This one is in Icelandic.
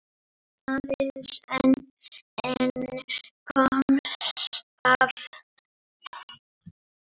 Aðeins einn komst af.